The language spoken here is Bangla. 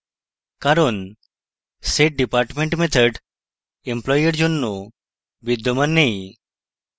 কারণ setdepartment method employee এর জন্য বিদ্যমান নেই